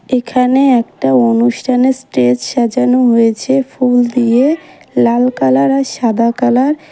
এখানে একটা অনুষ্ঠানের স্টেজ সাজানো হয়েছে ফুল দিয়ে লাল কালার আর সাদা কালার ।